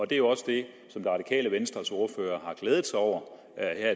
det er jo også det som det radikale venstres ordfører har glædet sig over